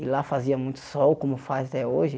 E lá fazia muito sol, como faz até hoje.